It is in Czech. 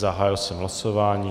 Zahájil jsem hlasování.